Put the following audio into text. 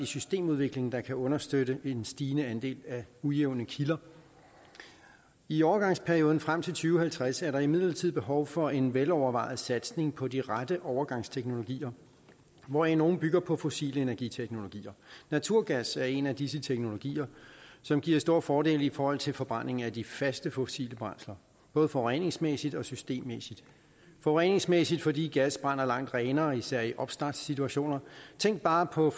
systemudvikling der kan understøtte en stigende andel af ujævne kilder i overgangsperioden frem tusind og halvtreds er der imidlertid behov for en velovervejet satsning på de rette overgangsteknologier hvoraf nogle bygger på fossile energiteknologier naturgas er en af disse teknologier som giver store fordele i forhold til forbrændingen af de faste fossile brændsler både forureningsmæssigt og systemmæssigt forureningsmæssigt fordi gas brænder langt renere især i opstartssituationer tænk bare på